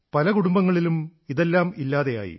പല കുടുംബങ്ങളിലും ഇതെല്ലാം ഇല്ലാതെയായി